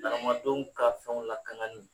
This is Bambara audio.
Nankamadenw ka fɛnw lakanani